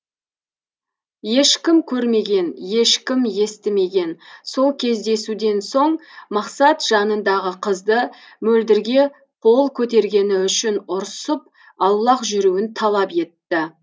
ешкім көрмеген ешкім естімеген сол кездесуден соң мақсат жанындағы қызды мөлдірге қол көтергені үшін ұрсып аулақ жүруін талап етті